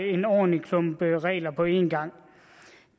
en ordentlig klump regler på en gang